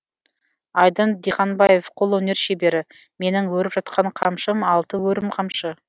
айдын диханбаев қолөнер шебері менің өріп жатқан қамшым алты өрім қамшы